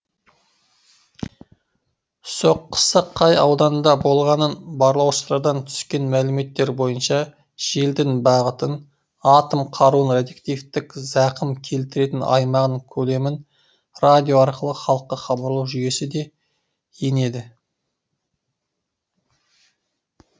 соққысы қай ауданда болғанын барлаушылардан түскен мәліметтер бойынша желдің бағытын атом қаруының радиоактивтік зақым келтіретін аймағының көлемін радио арқылы халыққа хабарлау жүйесі де енеді